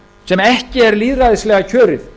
sem ekki er lýðræðislega kjörið